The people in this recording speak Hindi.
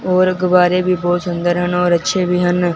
और अकबारे भी बहुत सुंदर हन और अच्छे भी ह न।